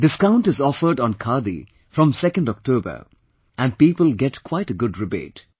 Discount is offered on Khadi from 2nd October and people get quite a good rebate